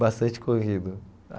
Bastante corrido.